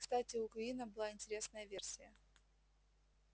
кстати у куинна была интересная версия